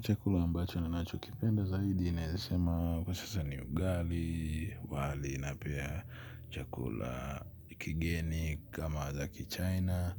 Chakula ambacho ninacho kipenda zaidi naweza sema kwa sasa ni ugali wali napia chakula kigeni kama za ki china.